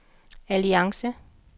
alliance